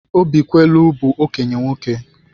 Obikwelu bụ okenye nwoke.